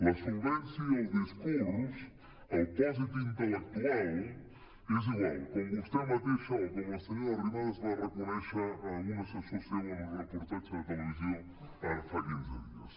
la solvència i el discurs el pòsit intel·lectual és igual com vostè mateixa o com la senyora arrimadas va reconèixer a un assessor seu en un reportatge de televisió ara fa quinze dies